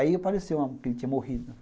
Aí apareceu, que ele tinha morrido.